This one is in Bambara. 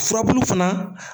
Furabulu fana